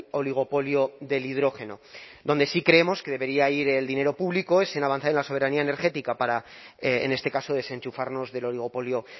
oligopolio del hidrógeno donde sí creemos que debería ir el dinero público es en avanzar en la soberanía energética para en este caso desenchufarnos del oligopolio